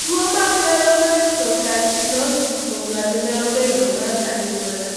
tuwo makelo nephrocalcinosis kuom ng'ato nyalo bedo mar anyuola.